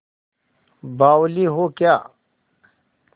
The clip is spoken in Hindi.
बावली हो क्या